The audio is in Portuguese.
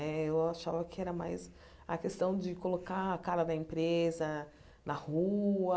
Né eu achava que era mais a questão de colocar a cara da empresa na rua.